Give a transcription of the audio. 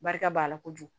Barika b'a la kojugu